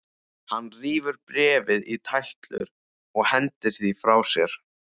Hann rífur bréfið í tætlur og hendir því frá sér.